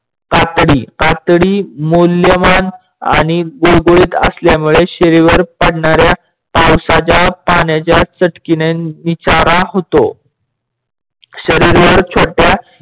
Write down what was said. कातडी कातडी मौलवाण आणि गुडगुडीत असल्यामुडे शरीरवर पडणाऱ्या पावसाच्या पाण्याच्या चटकेने निचारा होतो. शरीरवर छोट्या